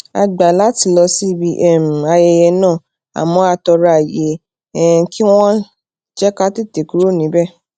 a gbà láti lọ síbi um ayẹyẹ náà àmó a toro aye um kí wón jé ká tètè kúrò níbè